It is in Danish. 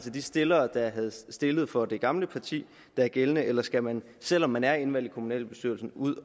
de stillere der havde stillet for det gamle parti der er gældende eller skal man selv om man er indvalgt i kommunalbestyrelsen ud